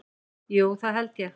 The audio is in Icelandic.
Jú það held ég.